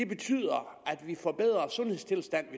betyder at vi får bedre sundhedstilstand